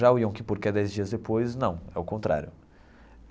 Já o Yom Kippur que é dez dias depois, não, é o contrário.